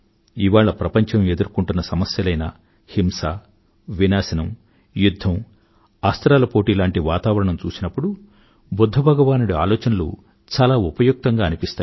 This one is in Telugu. ఇవాళ ప్రపంచం ఎదుర్కొంటున్న సమస్యలైన హింస వినాశం యుధ్ధం అస్త్రాల పోటీ లాంటి వాతావరణం చూసినప్పుడు బుధ్ధ భగవానుడి ఆలోచనలు చాలా ఉపయుక్తంగా అనిపిస్తాయి